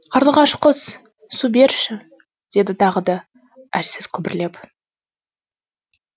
қарлығаш құс су берші деді тағы да әлсіз күбірлеп